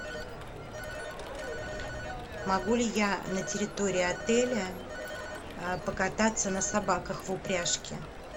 могу ли я на территории отеля покататься на собаках в упряжке